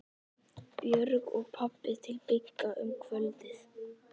Björg og pabbi til Bigga um kvöldið.